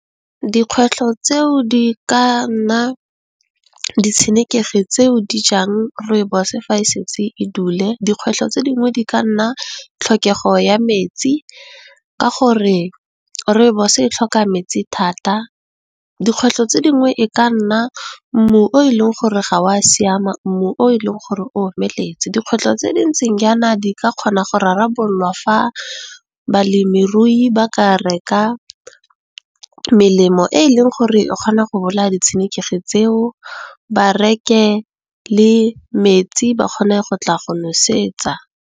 Dikgwetlho tseo di ka nna ditshenekegi tseo di jang Rooibos fa e setse e dule, dikgwetlho tse dingwe di ka nna tlhokego ya metsi ka gore, Rooibos e tlhoka metsi thata, dikgwetlho tse dingwe e ka nna mmu o e leng gore ga o a siama, mmu o e leng gore o omeletse. Dikgwetlho tse di ntseng jaana di ka kgona go rarabololwa fa balemirui ba ka reka melemo e e leng gore e kgona go bolaya di tshenekegi tseo, bareke le metsi ba kgone go tla go nosetsa.